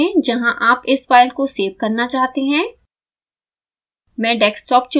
directory चुनें जहाँ आप इस फाइल को सेव करना चाहते हैं